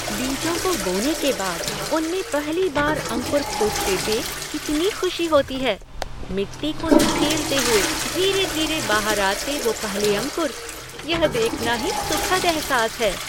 बीजों को बोने के बाद उनमें पहली बार अंकुर फूटते देख कितनी खुशी होती है! मिट्टी को धकेलते हुए धीरे धीरे बाहर आते वो पहले अंकुर। यह देखना ही सुखद एहसास है।